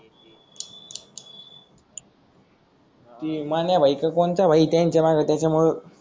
ते मान्या भाई का कोणता भाई त्यांच्या माग त्याच्या मूळे